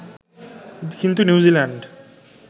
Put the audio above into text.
কিন্তু নিউজিল্যান্ড